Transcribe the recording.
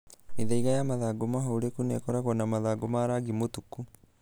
Mĩthaiga ya mathangũ mahũreku na ĩkoragwo na mathangũ ma rangi mũtuku.